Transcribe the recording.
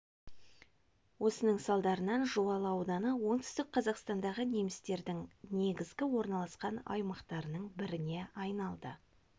осының салдарынан жуалы ауданы оңтүстік қазақстандағы немістердің негізгі орналасқан аймақтарының біріне айналды